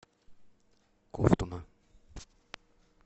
ковтуна